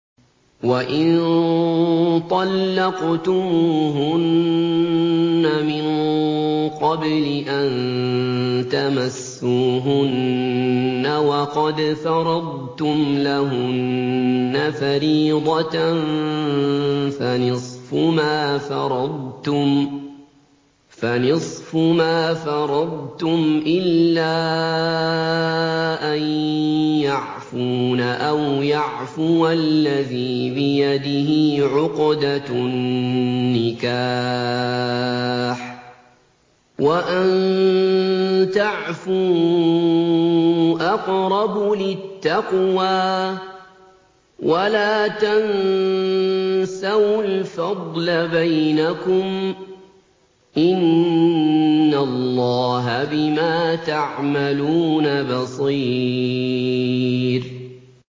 وَإِن طَلَّقْتُمُوهُنَّ مِن قَبْلِ أَن تَمَسُّوهُنَّ وَقَدْ فَرَضْتُمْ لَهُنَّ فَرِيضَةً فَنِصْفُ مَا فَرَضْتُمْ إِلَّا أَن يَعْفُونَ أَوْ يَعْفُوَ الَّذِي بِيَدِهِ عُقْدَةُ النِّكَاحِ ۚ وَأَن تَعْفُوا أَقْرَبُ لِلتَّقْوَىٰ ۚ وَلَا تَنسَوُا الْفَضْلَ بَيْنَكُمْ ۚ إِنَّ اللَّهَ بِمَا تَعْمَلُونَ بَصِيرٌ